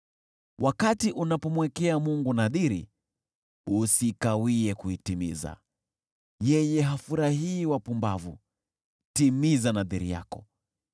Wakati unapomwekea Mungu nadhiri, usikawie kuitimiza. Yeye hafurahii wapumbavu; timiza nadhiri yako.